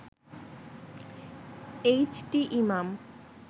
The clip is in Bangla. H T Imam